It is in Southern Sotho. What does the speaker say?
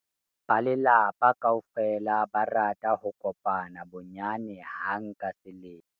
ba lelapa kaofela ba rata ho kopana bonyane hang ka selemo